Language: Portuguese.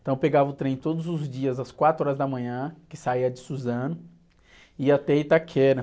Então eu pegava o trem todos os dias, às quatro horas da manhã, que saía de Suzano, ia até Itaquera.